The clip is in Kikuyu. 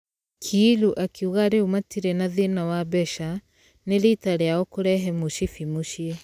Kiilu akĩuga rĩu matire na thĩna wa mbeca , nĩ rita rĩao kũrehe mũcibi mũciĩ.